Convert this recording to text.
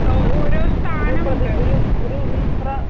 ഓരോ സ്ഥാനമുണ്ട്